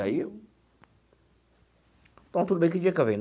Aí... Então, tudo bem, que dia que eu venho?